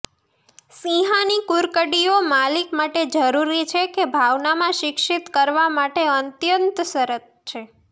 સિંહાની કુરકડીઓ માલિક માટે જરૂરી છે કે ભાવના માં શિક્ષિત કરવા માટે અત્યંત સરળ છે